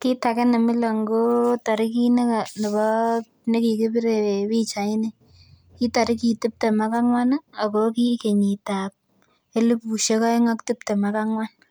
Kit age nemilon ko torigit nebo nekikibire pichait ni. Kitorigit tiptem ak ang'wan ih ako ki kenyit ab elipusiek oeng ak tiptem ak ang'wan.